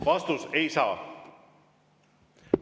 Vastus: ei saa!